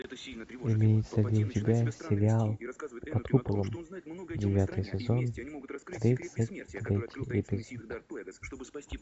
имеется ли у тебя сериал под куполом девятый сезон тридцать третий эпизод